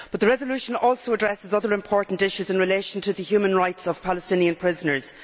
The resolution also addresses other important issues in relation to the human rights of Palestinian prisoners.